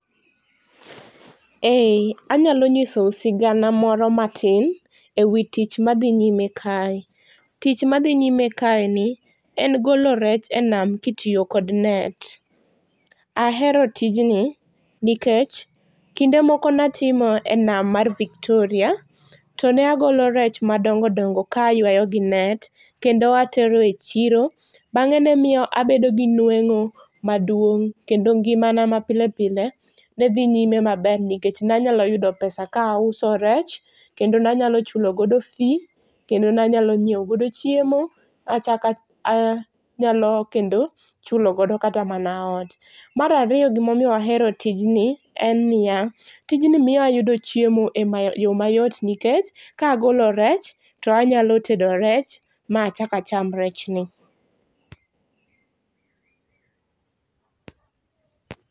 Ee,, anyalo nyisou sigana moro matin ewi tich madhi nyime kae. Tich madhi nyime kae ni en golo rech enam kitiyo kod net. Ahero tijni nikech kinde moko natimo enam mar Victoria, to ne agolo rech madongo dongo ka aywayo gi net, kendo atero e chiro. Bang'e nemiyo abedo gi nweng'o maduong', kendo ngimana ma pilepile nedhi nyime maber nikech nanyalo yudo pesa ka auso rech, kendo nanyalo chulo godo fee, kendo nanyalo nyiewo godo chiemo. Achaka anyalo kendo chulogodo kata mana ot. Mar ariyo gimomiyo wahero tijni en niya, tijni miyo ayudo chiemo e yo mayot nikech, kagolo rech tanyalo tedo rech ma achakacham rechni.